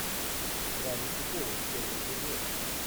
гравити фолз первый эпизод